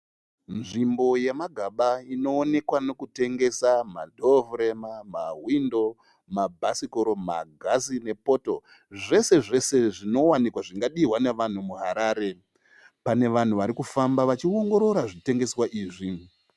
Nzvimbo yemagaba inoonekwa nokutengesa madhowo furema, mahwindo, mabhasikoro, magirasi nepoto. Zvese zvese zvinowanikwa zvingadihwa nevanhu muHarare. Pane vanhu vari kufamba vachiongorora zvitengeswa izvi.